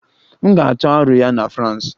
M ga-atụ aro ya na France.